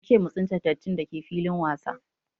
Ance mu tsince dattin dake filin wasa